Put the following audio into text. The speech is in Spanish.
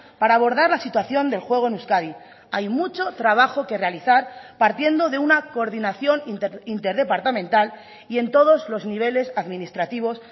para abordar la situación del juego en euskadi hay mucho trabajo que realizar partiendo de una coordinación interdepartamental y en todos los niveles administrativos